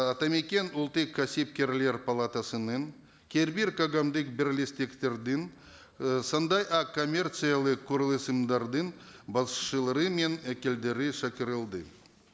атамекен ұлттық кәсіпкерлер палатасының кейбір қоғамдық бірлестіктердің ы сондай ақ коммерциялық басшылары мен шақырылды